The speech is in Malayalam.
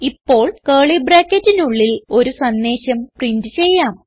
ഇപ്പോൾ കർലി ബ്രാക്കറ്റിനുള്ളിൽ ഒരു സന്ദേശം പ്രിന്റ് ചെയ്യാം